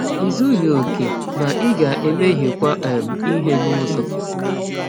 I zughị okè, ma ị ga-emehiekwa um ihe n’ụzọ.